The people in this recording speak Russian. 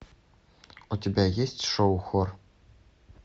у тебя есть шоу хор